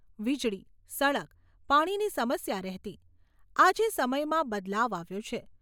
વીજળી, સડક, પાણીની સમસ્યા રહેતી, આજે સમયમાં બદલાવ આવ્યો છે.